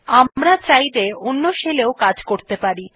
আমরা চাইলে অন্য শেল এও কাজ করতে পারি